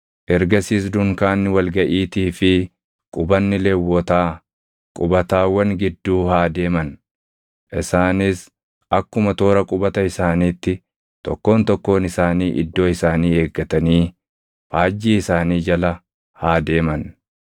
Ergasiis dunkaanni wal gaʼiitii fi qubanni Lewwotaa qubatawwan gidduu haa deeman. Isaanis akkuma toora qubata isaaniitti tokkoon tokkoon isaanii iddoo isaanii eeggatanii faajjii isaanii jala haa deeman.